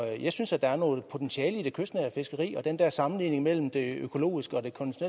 jeg synes at der er noget potentiale i det kystnære fiskeri den der sammenligning mellem det økologiske og det